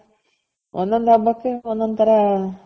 ಒಂದೊಂದ್ ಹಬ್ಬಕ್ಕೆ ಒಂದೊಂದು ತರ